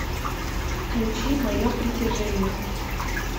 включи мое притяжение